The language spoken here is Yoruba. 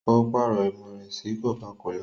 O parọ imú rẹ sí cocacola.